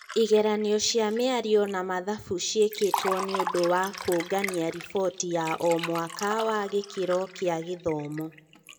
Igeranio cia mĩario na mathabu ciĩkĩtwo nĩũndũ wa kũngania riboti ya o-mwaka wa gĩkĩro kĩa gĩthomo.